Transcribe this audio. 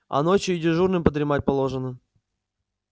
а ночью и дежурным подремать положено